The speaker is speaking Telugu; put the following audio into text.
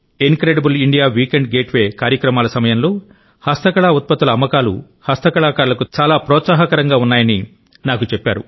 in credible India weekend gateway కార్యక్రమాల సమయంలో హస్తకళ ఉత్పత్తుల అమ్మకాలు హస్తకళాకారులకు చాలా ప్రోత్సాహకరంగా ఉన్నాయని నాకు చెప్పారు